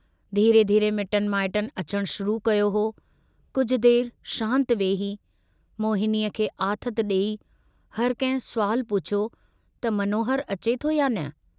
धीरे-धीरे मिटनि माइटनि अचणु शुरू कयो हो, कुझ देर शांति वेही, मोहिनीअ खे आथतु डेई हरकंहिं सुवालु पुछियो त मनोहर अचे थो या न?